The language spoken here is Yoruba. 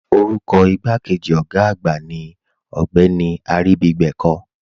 Orúkọ igbàkéjì ogá àgbà ní Ogbeni Aribígbẹ̀kọ̀.